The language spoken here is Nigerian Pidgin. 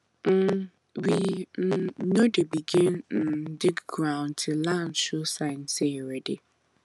um we um no dey begin um dig ground till land show sign say e ready